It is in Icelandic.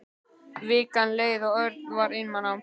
Vikan leið og Örn var einmana.